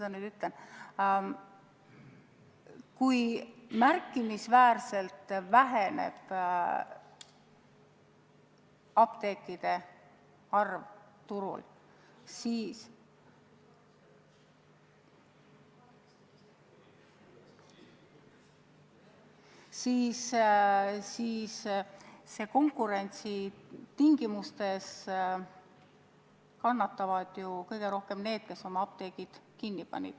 Aga kui märkimisväärselt väheneb apteekide arv turul, siis konkurentsi tingimustes kannatavad ju kõige rohkem need, kes oma apteegid kinni panid.